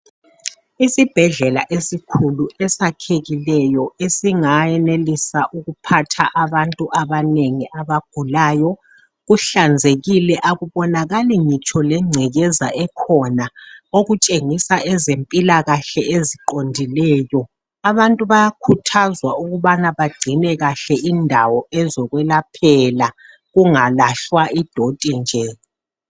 Isibhedlela esikhulu esakhekileyo esingayenelisa ukuphatha abantu abanengi abagulayo kuhlanzekile akubonakali ngitsho legcekeza ekhona okutshengisa ezempilakahle eziqondileyo abantu bayakhuthazwa ukubana bagcine kahle indawo ezokwelaphela kungalahlwa idoti nje.